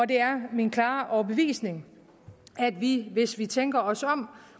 det er min klare overbevisning at vi hvis vi tænker os om